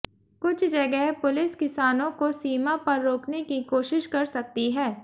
कुछ जगह पुलिस किसानों को सीमा पर रोकने की कोशिश कर सकती है